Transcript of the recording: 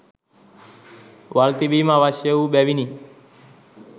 වල් තිබීම අවශ්‍ය වූ බැවිනි.